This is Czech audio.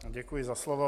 Děkuji za slovo.